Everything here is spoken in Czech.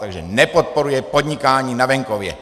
Takže nepodporuje podnikání na venkově!